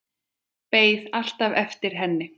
Beið alltaf eftir henni.